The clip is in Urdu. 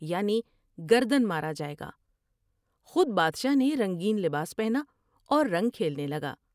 یعنی گردن مارا جاۓ گا۔ خود بادشاہ نے رنگین لباس پہنا اور رنگ کھیلنے لگا ۔